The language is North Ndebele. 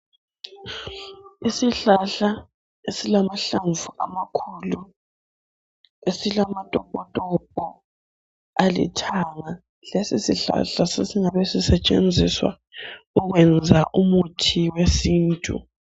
Isihlahla esilamahlamvu amakhulu esilama topo topo alithanga lesi sihlahla sesingabe sisetshenziswa ukwenza umuthi wesintu.